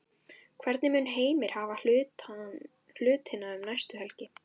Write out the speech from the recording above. Hvernig mun Heimir hafa hlutina um næstu helgi?